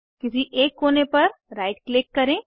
किसी एक कोने पर राइट क्लिक करें